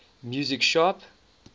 music sharp